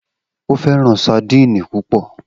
O fẹran sadíìnì pupọ.